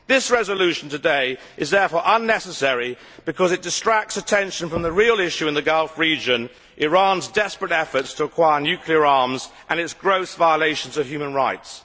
This resolution today is therefore unnecessary because it distracts attention from the real issue in the Gulf region Iran's desperate efforts to acquire nuclear arms, and its gross violations of human rights.